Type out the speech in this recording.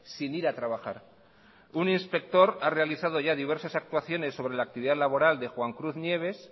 sin ir a trabajar un inspector ha realizado ya diversas actuaciones sobre la actividad laboral de juan cruz nieves